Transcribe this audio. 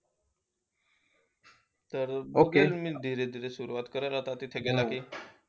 तर मी सुरवात करेन तिथे गेला कि